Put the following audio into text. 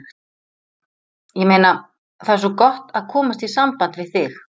Ég meina. það er svo gott að komast í samband við þig.